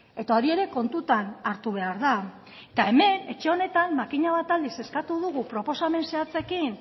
eta hori ere kontutan hartu behar da eta hemen etxe honetan makina bat aldiz eskatu dugu proposamen zehatzekin